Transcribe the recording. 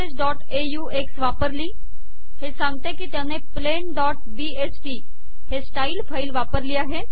referencesऑक्स वापरली हे सांगते की त्याने plainबीएसटी हे स्टाइल फाईल वापरली आहे